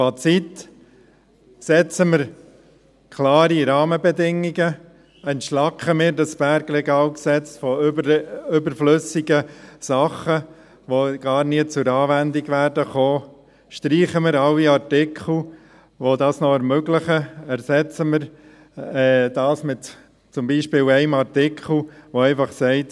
Fazit: Setzen wir klare Rahmenbedingungen, entschlacken wir das BRG von überflüssigen Dingen, die gar nie zur Anwendung kommen werden, streichen wir alle Artikel, die das noch ermöglichen, und ersetzen wir sie zum Beispiel durch einen Artikel, der einfach sagt: